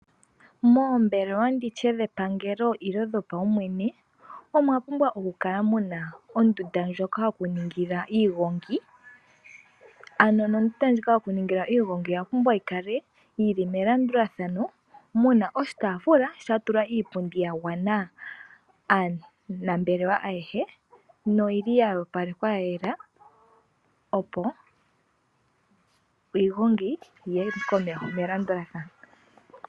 Moombelewa dhepangelo nenge dhopaumwene omwapumbwa okukakala muna ondunda ndjoka yokuningila iigongi . Ondunda yokuningila iigongi oyapumbwa yikale yili melandulathano muna oshitaafula shatulwa iipundi ya gwana aanambelewa ayehe noyili ya opalekwa ya yela opo iigongo yiye komeho melandulathano.